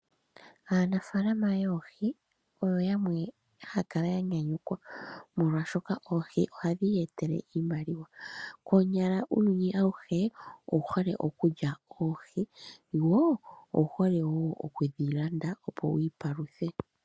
Aanafaalama yoohi oyo yamwe haya kala ya nyanyukwa molwaashoka oohi ohadhi ya etele iimaliwa. Konyala uuyuni awuhe owu hole okulya oohi, wo owu hole wo okudhi landa opo ya ipaluthe.